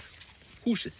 húsið